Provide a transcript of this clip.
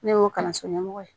Ne y'o kalanso ɲɛmɔgɔ ye